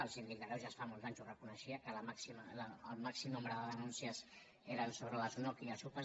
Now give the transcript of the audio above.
el síndic de greuges fa molts anys ho reconeixia que el màxim nombre de denúncies eren sobre les unoc i les upas